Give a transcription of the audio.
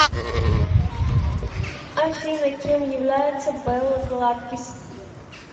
афина кем является белла златкис